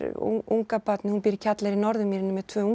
ungabarnið hún býr í kjallara í Norðurmýri með tvö